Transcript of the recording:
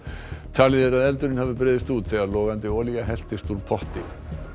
talið er að eldurinn hafi breiðst út þegar logandi olía helltist úr potti